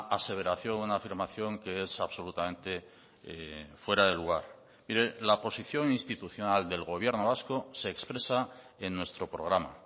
aseveración una afirmación que es absolutamente fuera de lugar mire la posición institucional del gobierno vasco se expresa en nuestro programa